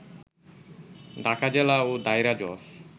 ঢাকা জেলা ও দায়রা জজ